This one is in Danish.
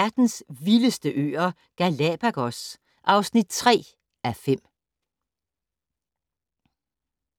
03:30: Verdens vildeste øer - Galapagos (3:5)